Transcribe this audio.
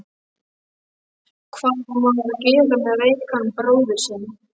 Hvað á maður að gera með veikan bróður sinn?